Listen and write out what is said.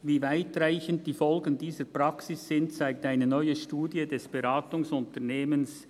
Wie weitreichend die Folgen dieser Praxis sind, zeigt eine neue Studie des Beratungsunternehmens